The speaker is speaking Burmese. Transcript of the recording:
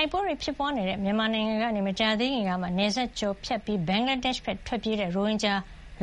ိုက်ပွဲတွေဖြစ်နေတဲ့မြန်မာနိုင်ငံကနေ မကြာသေးခင်ကမှ နယ်စပ်ကျော်ဖြတ်ပြီး ဘင်္ဂလားဒေ့ရှ်ဘက် ထွက်ပြေးလာတဲ့ ရိုဟင်ဂျာ